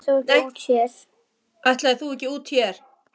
Ætlaðir þú ekki úr hér?